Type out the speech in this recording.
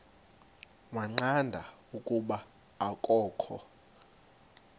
waqonda ukuba akokho